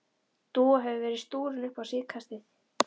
Dúa hefur verið stúrin upp á síðkastið.